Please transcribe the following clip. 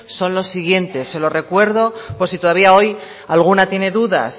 son los siguientes se lo recuerdo por si todavía hoy alguna tiene dudas